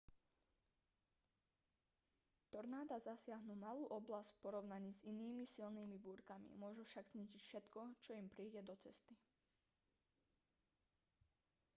tornáda zasiahnu malú oblasť v porovnaní s inými silnými búrkami môžu však zničiť všetko čo im príde do cesty